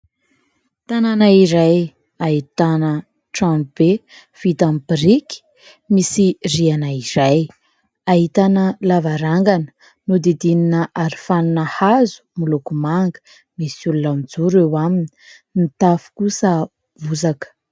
Tanàna iray ahitana tranobe vita amin'ny biriky misy rihana iray. Ahitana lavarangana nodidinina aro fanina hazo moloko manga. Misy olona mijoro eo aminy. Ny tafo kosa bozaka.